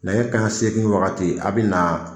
Nɛgɛ kanɲɛ segin wagati a' bɛ na